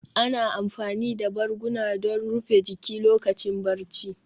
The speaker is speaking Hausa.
Ana amfani da barguna don rufe jiki lokacin barci